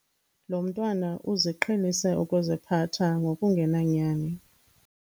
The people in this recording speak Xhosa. Lo mntwana uziqhelise ukuziphatha ngokungenanyani.